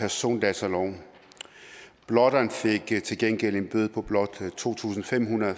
persondataloven blotteren fik til gengæld en bøde på blot to tusind fem hundrede